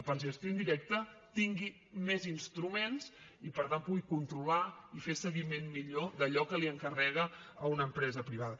per gestió indirecta tingui més instruments i per tant pugui controlar i fer seguiment millor d’allò que li encarrega a una empresa privada